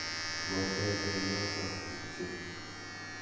Ngotebe yoto kityo.